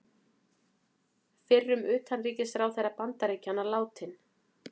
Fyrrum utanríkisráðherra Bandaríkjanna látinn